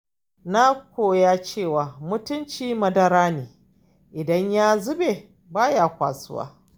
Na koya cewa mutunci madara ne idan ya zube baya kwasuwa.